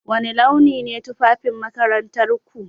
Wani launi ne tufafin makarantarku?